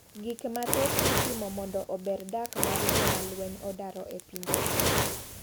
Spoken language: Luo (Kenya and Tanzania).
Gik mathoth itimo mondo ober dak mar joma lweny odaro e pinje gi.